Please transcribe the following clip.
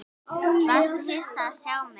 Varstu hissa að sjá mig?